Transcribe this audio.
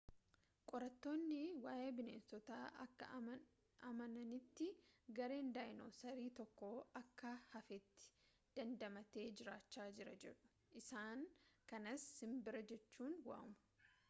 qorattoonni waayee bineensotaa akka amananitti gareen daayinosarii tokko akka hafteetti dandamatee jiraachaa jira jedhu isaan kanas simbira jechuun waamu